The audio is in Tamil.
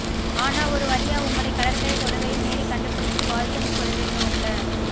ஆனா ஒரு வழியா உங்களை கடற்கரை தொழுகையில் நேரில் கண்டுபிடிச்சி வாழ்த்தும் சொல்லோடோம்லே